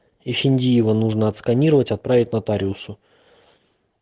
эфендиева нужно отсканировать отправить нотариусу